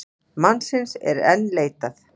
Mannsins er enn leitað.